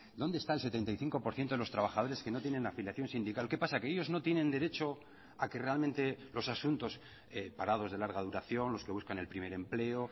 dónde está el setenta y cinco por ciento de los trabajadores que no tienen afiliación sindical qué pasa que ellos no tienen derecho a que realmente los asuntos parados de larga duración los que buscan el primer empleo